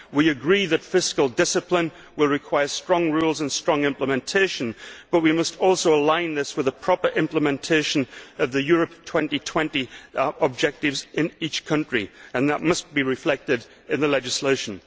We agree that fiscal discipline will require strong rules and strong implementation, but we must also align this with the proper implementation of the Europe 2020 objectives in each country, and that must be reflected in the legislation.